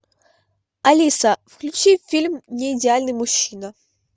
алиса включи фильм неидеальный мужчина